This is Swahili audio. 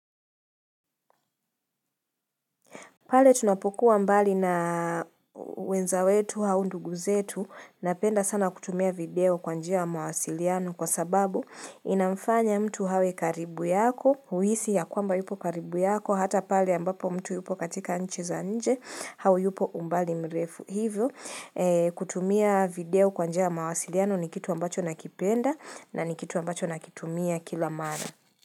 Pale tunapokuwa mbali na wenza wetu au ndugu zetu, napenda sana kutumia video kwa njia ya mawasiliano kwa sababu inamfanya mtu awe karibu yako, uhisi ya kwamba yupo karibu yako, hata pale ambapo mtu yupo katika nchi za nje, au yupo umbali mrefu hivyo, kutumia video kwa njia ya mawasiliano ni kitu ambacho nakipenda na ni kitu ambacho nakitumia kila mara.